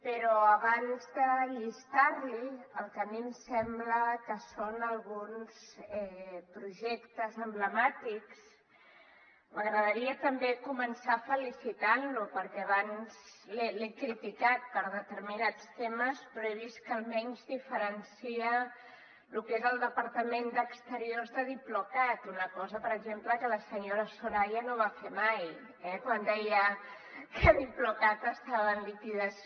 però abans de llistar li el que a mi em sembla que són alguns projectes emblemàtics m’agradaria també començar felicitant lo perquè abans l’he criticat per determinats temes però he vist que almenys diferencia lo que és el departament d’exteriors de diplocat una cosa per exemple que la senyora soraya no va fer mai eh quan deia que diplocat estava en liquidació